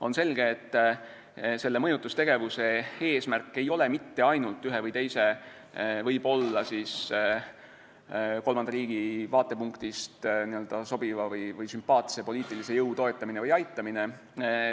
On selge, et selle mõjutustegevuse eesmärk ei ole mitte ainult ühe või teise võib-olla kolmanda riigi vaatepunktist sobiva või sümpaatse poliitilise jõu toetamine või aitamine.